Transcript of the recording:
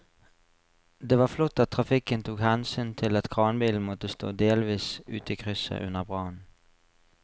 Det var flott at trafikken tok hensyn til at kranbilen måtte stå delvis ute i krysset under brannen.